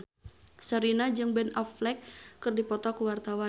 Sherina jeung Ben Affleck keur dipoto ku wartawan